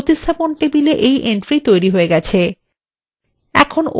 দেখুন replacement table entry তৈরি হয়ে গেছে